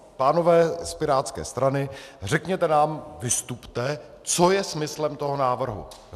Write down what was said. Pánové z pirátské strany, řekněte nám, vystupte, co je smyslem toho návrhu.